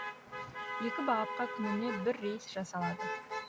екі бағытқа күніне бір рейс жасалады